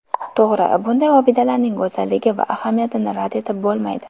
To‘g‘ri, bunday obidalarning go‘zalligi va ahamiyatini rad etib bo‘lmaydi.